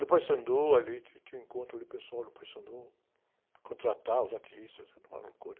No Paissandu, ali, tinha, tinha um encontro ali, o pessoal do Paissandu, contratava os artistas, era uma loucura.